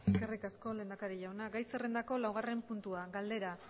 eskerrik asko lehendakari jauna gai zerrendako laugarren puntua galdera